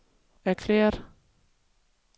erklæret